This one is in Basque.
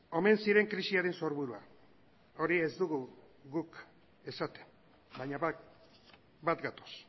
omen ziren krisiaren sorburua hori ez dugu guk esaten baina bat gatoz